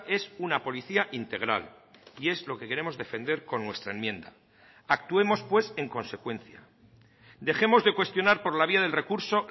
es una policía integral y es lo que queremos defender con nuestra enmienda actuemos pues en consecuencia dejemos de cuestionar por la vía del recurso